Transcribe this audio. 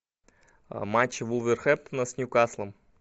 матч вулверхэмптона с ньюкаслом